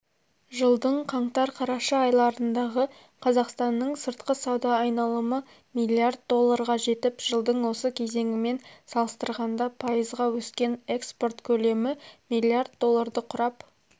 жылдың қаңтар-қараша айларындағы қазақстанның сыртқы сауда айналымы миллиард долларға жетіп жылдың осы кезеңімен салыстырғанда пайызға өскен экспорт көлемі миллиард долларды құрап